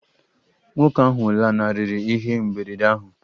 Nwoke ahụ lanarịrị ihe mberede ahụ?